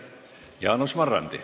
Jaanus Marrandi.